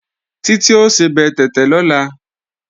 Títí ó sebẹ̀ tẹ̀tẹ̀ lọ́la